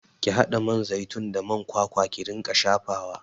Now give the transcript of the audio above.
Ki haɗa man zaitun da man kwakwa ki ringa shafawa!